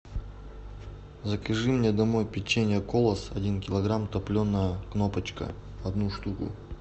закажи мне домой печенье колос один килограмм топленое кнопочка одну штуку